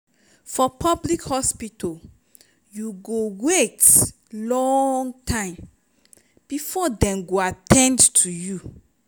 for public hospital you go wait long time before dem go at ten d to you.